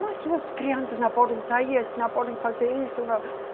Mas suas crianças não podem sair, eles não podem fazer isso.